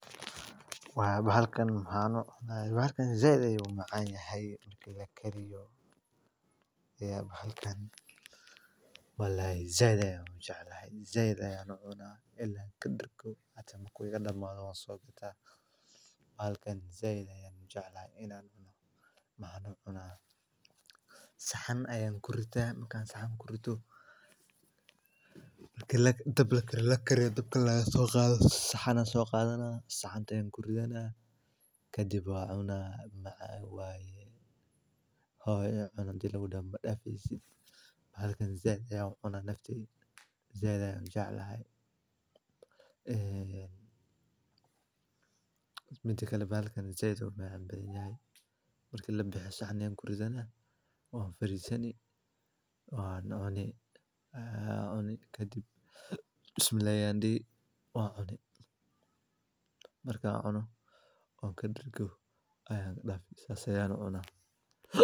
Bahalkan zaid ayuu u macaan yehe wlalhi zaid ayaan ujecelhe zaid ayaan u cunaa saxan ayaa kuritaa saxan markaa kurito dhab lagu kariyo alagasoo qaado saxan ayaan soqadanaa qaada ayaaan kuridhanaa kadib waa cunaa wlalhi hoo ee cun hadii lagudhoho madhafeesid bahalakan zai ayaa ucunaa zaid ayuu umacaan badan yehe kadib bismilahi ayaan dihi ,markaan cuno oo kadergo sidaan ayaa u cunaa